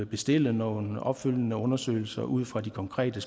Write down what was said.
bestille nogle opfølgende undersøgelser ud fra de konkrete